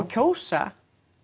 kjósa